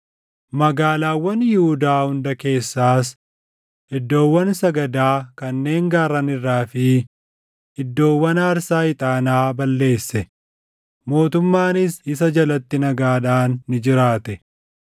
Magaalaawwan Yihuudaa hunda keessaas iddoowwan sagadaa kanneen gaarran irraa fi iddoowwan aarsaa ixaanaa balleesse; mootummaanis isa jalatti nagaadhaan ni jiraate.